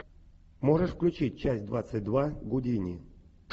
можешь включить часть двадцать два гудини